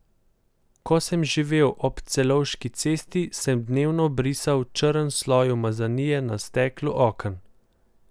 Ko sem živel ob Celovški cesti, sem dnevno brisal črn sloj umazanije na steklu oken.